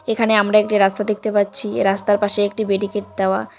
এখানে আমরা একটি রাস্তা দেখতে পাচ্ছি এই রাস্তার পাশে একটি বেডিকেট দেওয়া ।